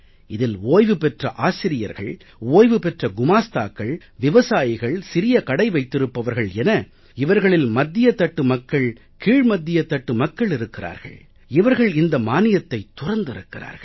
இதில் ஓய்வு பெற்ற ஆசிரியர்கள் ஓய்வு பெற்ற குமாஸ்தாக்கள் விவசாயிகள் சிறிய கடை வைத்திருப்பவர்கள் என இவர்களில் மத்திய தட்டு மக்கள் கீழ் மத்திய தட்டு மக்கள் இருக்கிறார்கள் இவர்கள் இந்த மானியத்தைத் துறந்திருக்கிறார்கள்